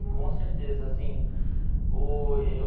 Com certeza, sim.